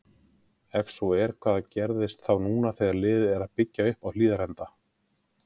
Ef svo er, hvað gerist þá núna þegar liðið er að byggja upp Hlíðarenda?!